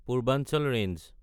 Purvanchal range